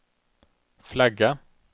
flagga